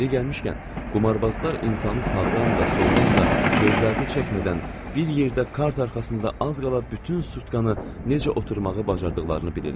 Yeri gəlmişkən, qumarbazlar insanı sağdan da, soldan da, gözlərini çəkmədən bir yerdə kart arxasında az qala bütün sutkanı necə oturmağı bacardıqlarını bilirlər.